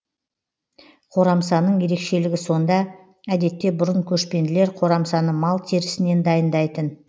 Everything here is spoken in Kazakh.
қорамсаның ерекшілігі сонда әдетте бұрын көшпенділер қорамсаны мал терісінен дайындайтын